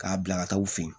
K'a bila ka taa u fɛ yen